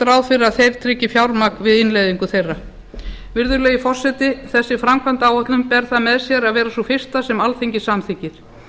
ráð fyrir að þeir tryggi fjármagn við innleiðingu þeirra virðulegi forseti þessi framkvæmdaáætlun ber það með sér að vera sú fyrsta sem alþingi samþykkir